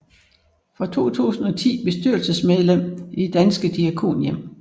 Fra 2010 bestyrelsesmedlem i Danske Diakonhjem